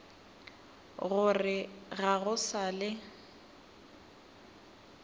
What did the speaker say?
gore ga go sa le